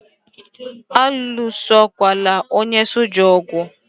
Alụsokwala onye soja ogu!